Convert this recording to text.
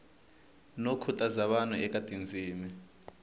no khutaza vanhu eka tindzimi